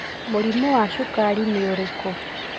Mũrimũ wa Cukari ni ũrikũ?